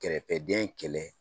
Kɛrɛfɛden kɛlɛ